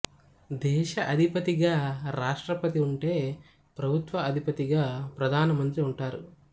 దేశ అధిపతిగా రాష్ట్రపతి ఉంటె ప్రభుత్వ అధిపతిగా ప్రధాన మంత్రి ఉంటారు